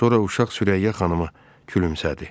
Sonra uşaq Sürəyya xanıma gülümsədi.